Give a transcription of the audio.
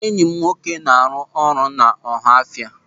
Enyị m nwoke na-arụ ụlọ n'Ọhaọfịa.